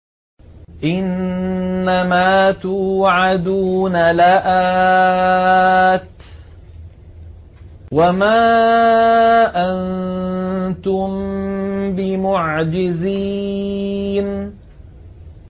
إِنَّ مَا تُوعَدُونَ لَآتٍ ۖ وَمَا أَنتُم بِمُعْجِزِينَ